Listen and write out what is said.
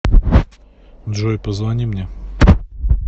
джой позвони мне